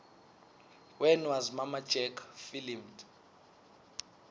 when was mamma jack filmed